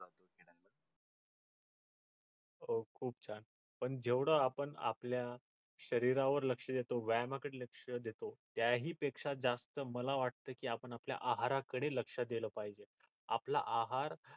हो खूप छान पण जेव्हडा आपण आपल्या शरीरावर लक्ष देतो व्यायामा कडे ही लक्ष देतो त्याही पेक्षा जास्त मला वाटत की आपण आपल्या आहाराकडे लक्ष दले पाहिजे आपला आहार